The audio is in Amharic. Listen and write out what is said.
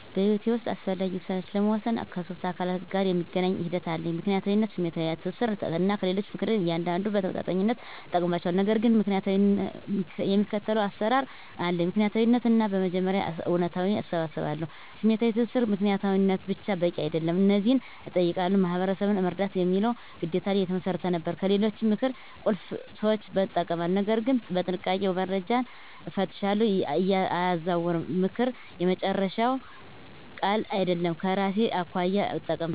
በሕይወቴ ውስጥ አስፈላጊ ውሳኔዎችን ለመወሰን ከሶስት አካላት ጋር የሚገናኝ ሂደት አለኝ፦ ምክንያታዊነት፣ ስሜታዊ ትስስር፣ እና ከሌሎች ምክር። እያንዳንዱን በተመጣጣኝነት እጠቀምባቸዋለሁ፣ ነገር ግን የሚከተለው አሰራር አለኝ። ምክንያታዊ ትንተና በመጀመሪያ እውነታዎችን እሰባስባለሁ። #ስሜታዊ ትስስር ምክንያታዊነት ብቻ በቂ አይደለም። እነዚህን እጠይቃለሁ፦ "ማህበረሰብን መርዳት" የሚለው ግዴታ ላይ የተመሰረተ ነበር። #ከሌሎች ምክር ቁልፍ ሰዎችን እጠቀማለሁ፣ ነገር ግን በጥንቃቄ፦ - መረጃን እፈትሻለሁ፣ አያዛውርም፦ ምክር የመጨረሻ ቃል አይደለም፤ ከራሴ አኳያ እጠቀምበታለሁ።